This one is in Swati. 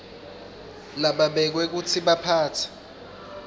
lababekwe kutsi baphatse